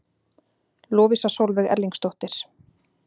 Lovísa Sólveig Erlingsdóttir